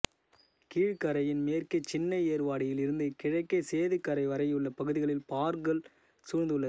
கீழக்கரையின் மேற்கே சின்ன ஏர்வாடியில் இருந்து கிழக்கே சேது கரை வரையுள்ள பகுதிகளில் பார்கள் சூழ்ந்து உள்ளது